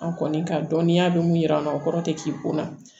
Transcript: An kɔni ka dɔnniya bɛ mun yira an na o kɔrɔ tɛ k'i ko la